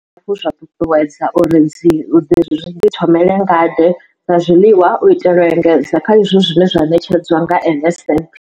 Zwe zwa ṱuṱuwedzwa uri zwi ḓithomele ngade dza zwiḽiwa u itela u engedza kha izwo zwine zwa ṋetshedzwa nga NSNP.